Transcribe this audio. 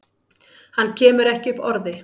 Hann kemur ekki upp orði.